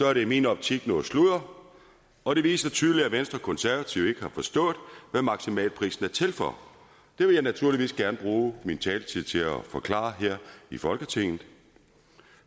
er det i min optik noget sludder og det viser tydeligt at venstre og konservative ikke har forstået hvad maksimalprisen er til for det vil jeg naturligvis gerne bruge min taletid til at forklare her i folketinget